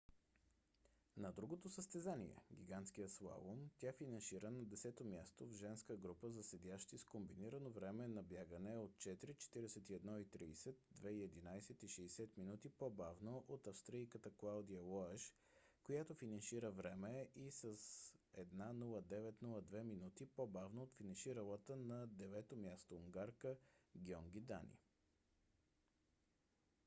на другото състезание гигантския слалом тя финишира на десето място в женска група за седящи с комбинирано време на бягане 4:41.30 2:11.60 минути по-бавно от австрийката клаудия лоеш която финишира първа и 1:09.02 минути по-бавно от финиширалата на девето място унгарка гьонги дани